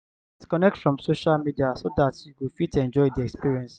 disconnect from social media so dat you go fit enjoy di experience